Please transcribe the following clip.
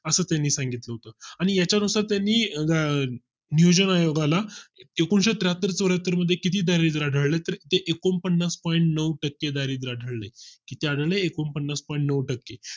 असं त्यांनी सांगितलं आणि याच्या नुसार त्यांनी नियोजन आयोगा ला एकूणशे त्र्याहत्तर चौर्‍याहत्तर मध्ये किती दरिद्र आढळले तर एकोणपन्नास point नऊ टक्के दारिद्र आढळेल किती आढळले एकोणपन्नास point नऊ टक्के